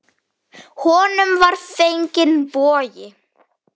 Honum var fenginn bogi.